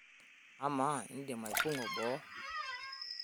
Amaa, indim aipang'u boo?